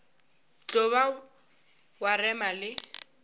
tlo ba wa rema le